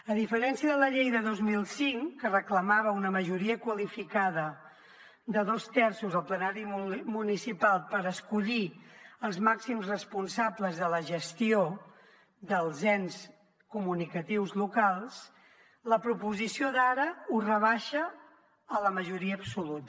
a diferència de la llei de dos mil cinc que reclamava una majoria qualificada de dos terços al plenari municipal per escollir els màxims responsables de la gestió dels ens comunicatius locals la proposició d’ara ho rebaixa a la majoria absoluta